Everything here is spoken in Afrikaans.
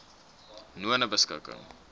nonebeskikking